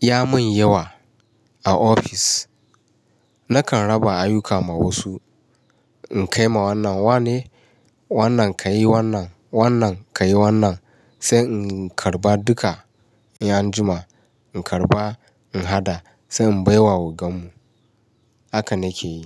ya mun yawa a ofis nakan raba ayuka ma wasu. In kai ma wannan, wane wannan ka yi wannan, wannan ka yi wannan sai in karba duka yan juma. In karba, in haɗa sai in baiwa ogan mu. Haka na ke yi.